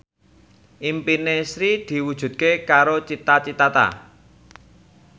impine Sri diwujudke karo Cita Citata